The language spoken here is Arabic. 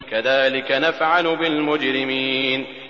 كَذَٰلِكَ نَفْعَلُ بِالْمُجْرِمِينَ